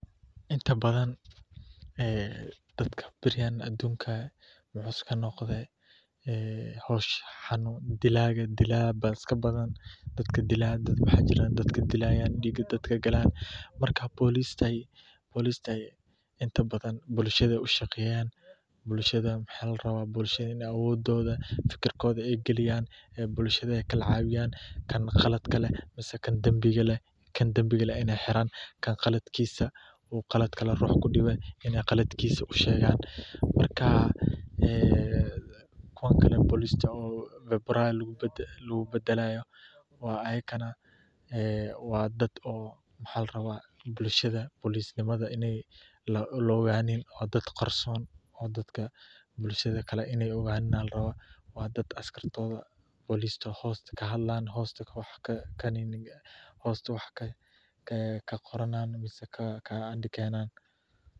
Inta badan dadka aduunka wuxuu iska noqdo, dilaa ayaa iska badan, marka boliska bulshada ayeey cawiyaan, kan danbiga leh Inay xiraan, kuwa kale oo lagu bedelaayo, waxaa larabaa inaay qarsonadaan, oo hoosta wax kaqoraan.